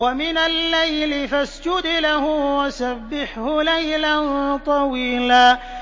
وَمِنَ اللَّيْلِ فَاسْجُدْ لَهُ وَسَبِّحْهُ لَيْلًا طَوِيلًا